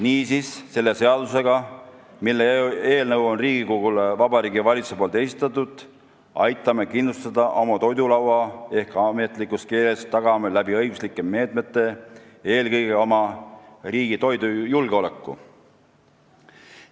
Niisiis, selle seadusega, mille eelnõu Vabariigi Valitsus on Riigikogule esitanud, aitame kindlustada oma toidulaua ehk ametlikus keeles tagame õiguslike meetmetega eelkõige oma riigi toidujulgeoleku.